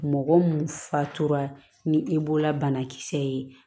Mɔgɔ mun fa tora ni e la banakisɛ ye